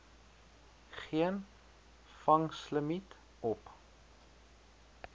geen vangslimiet op